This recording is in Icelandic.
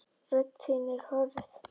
Rödd þín er hörð.